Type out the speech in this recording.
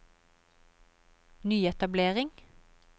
nyetablering